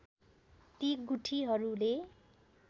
ती गुठीहरूले